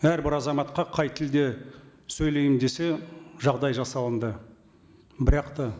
әрбір азаматқа қай тілде сөйлеймін десе жағдай жасалынды бірақ та